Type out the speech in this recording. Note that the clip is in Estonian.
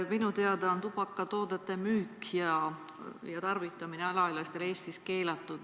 Minu teada on tubakatoodete müük alaealistele ja nende tarvitamine alaealistel Eestis keelatud.